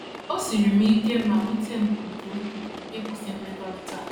O siiri m ike ma wute m nke ukwuu ịkwụsị mmekọrịta a.